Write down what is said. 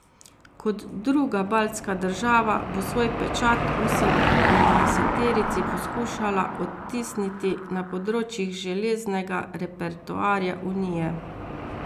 Kot druga baltska država bo svoj pečat osemindvajseterici poskušala odtisniti na področjih železnega repertoarja Unije.